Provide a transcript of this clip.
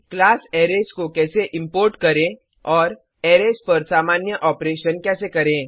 class arrays को कैसे import करें और अरेज पर सामान्य ओपरेशन कैसे करें